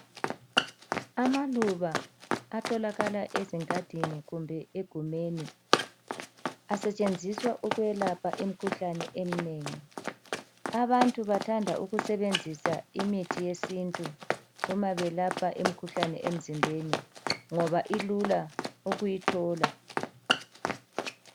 Amaluba atholakala ezingadini kumbe egumeni asetshenziswa ukwelapha imikhuhlane eminengi. Abantu bathanda ukusebenzisa imithi yesintu uma belapha imikhuhlane emzimbeni ngoba ilula ukuyithola.